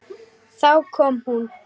Þá kom hún.